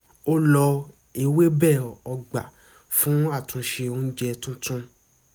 ó lo ewébẹ̀ ọgbà fún àtúnṣe oúnjẹ tuntun